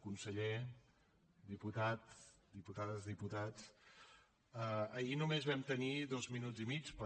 conseller diputades diputats ahir només vam tenir dos minuts i mig per